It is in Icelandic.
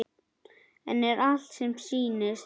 En er allt sem sýnist?